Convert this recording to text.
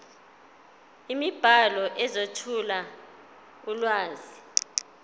imibhalo ezethula ulwazi